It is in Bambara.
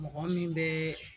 Mɔgɔ min bɛ